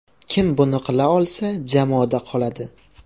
Kim buni qila olsa, jamoada qoladi.